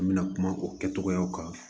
An bɛna kuma o kɛcogoyaw kan